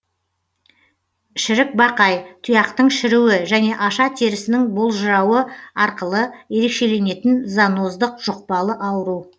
шірікбақай тұяқтың шіруі және аша терісінің болжырауы арқылы ерекшеленетін зоноздық жүқпалы ауру